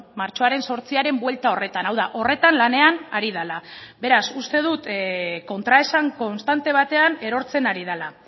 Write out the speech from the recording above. martxoaren zortziaren buelta horretan hau da horretan lanean ari dela beraz uste dut kontraesan konstante batean erortzen ari dela